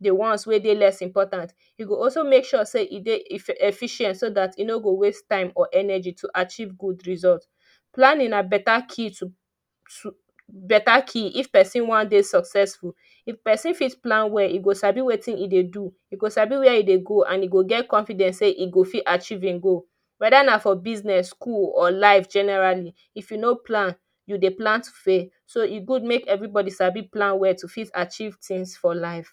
the ones wey dey less important. E go also make sure say e dey efficient so that e no go waste time or energy to achieve good result. Planning na better key to, better key if person wan dey successful. If Person fit plan well, e go sabi wetin e dey do, e go sabi wey e dey go and e go get confidence sey e go fit archive him goal weda na for business school or life generally if you no plan you dey plan to to fail. So e good make everybody dey sabi plan well to fit archive things for life